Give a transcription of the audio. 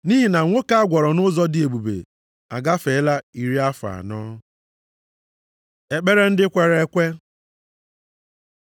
Nʼihi na nwoke a gwọrọ nʼụzọ dị ebube agafeela iri afọ anọ. Ekpere ndị kwere ekwe